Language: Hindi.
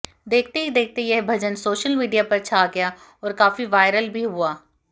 देखते ही देखते यह भजन सोशल मीडिया पर छा गया और काफी वायरल भी हुआ